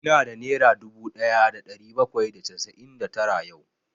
Ina da nera dubu ɗaya da ɗari bakwai da casa'in da tara yau